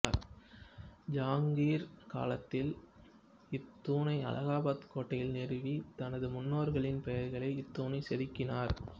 ஜஹாங்கீர் காலத்தில் இத்தூணை அலகாபாத் கோட்டையில் நிறுவி தனது முன்னோர்களின் பெயர்களை இத்தூணில் செதுக்கினார்